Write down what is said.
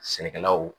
Sɛnɛkɛlaw